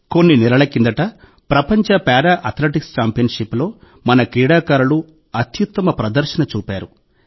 కొన్ని నెలల కిందట ప్రపంచ పారా అథ్లెటిక్స్ ఛాంపియన్షిప్లో మన క్రీడాకారులు అత్యుత్తమ ప్రదర్శన చూపారు